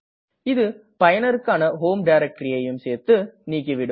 இது பயனருக்கான ஹோம் directoryஐயும் சேர்த்து நீக்கிவிடும்